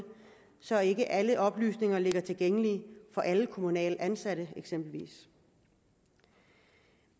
så ikke alle oplysninger ligger tilgængelige for alle kommunalt ansatte eksempelvis